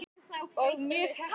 Og mjög heppin!